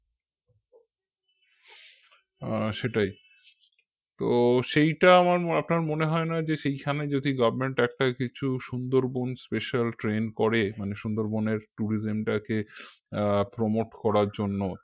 আহ সেটাই তো সেইটা আমার আপনার মনে হয় না যে সেইখানে যদি government একটা কিছু সুন্দরবন special train করে মানে সুন্দরবনের tourism টাকে আহ prompt করার জন্য